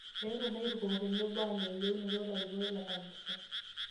Eetuo lairukok tenebo aaning' yieunot larikok lekanisa